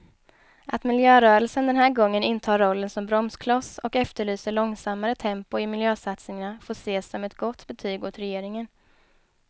Att miljörörelsen den här gången intar rollen som bromskloss och efterlyser långsammare tempo i miljösatsningarna får ses som ett gott betyg åt regeringen.